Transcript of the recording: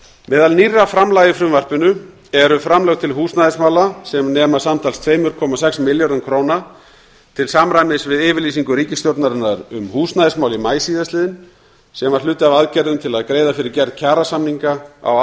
meðal nýrra framlaga í frumvarpinu eru framlög til húsnæðismála sem nema samtals tvö komma sex milljörðum króna til samræmis við yfirlýsingu ríkisstjórnarinnar um húsnæðismál í maí síðastliðnum sem var hluti af aðgerðum til að greiða fyrir gerð kjarasamninga á